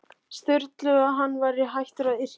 Sturlu að hann væri hættur að yrkja.